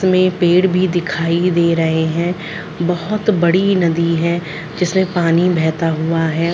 इसमें पेड़ भी दिखाई दे रहे है बहुत बड़ी नदी है जिसमे पानी बेहता हुआ है।